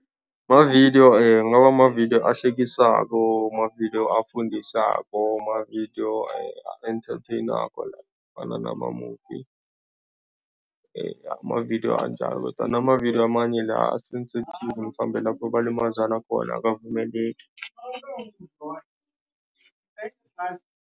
Mavidiyo kungaba mavidiyo ahlekisako, mavidiyo afundisako, mavidiyo a-enthatheyinako la afana nama-movie amavidiyo anjalo kodwana amavidiyo amanye la a-sensitive mhlambe lapho balimazana khona akavumeleki.